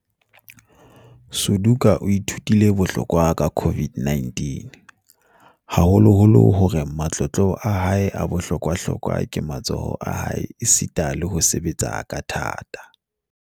Suduka o ithutile boholo ka COVID-19, haholoholo ka hore matlotlo a hae a bohlokwa-hlokwa ke matsoho a hae esita le ho sebetsa ka thata.